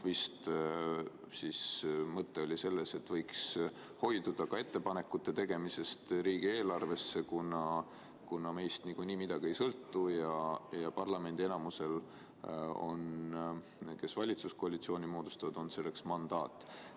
Vist oli mõte selles, et võiks hoiduda ka ettepanekute tegemisest riigieelarve kohta, kuna meist niikuinii midagi ei sõltu ja parlamendi enamusel, kes valitsuskoalitsiooni moodustavad, on selleks mandaat.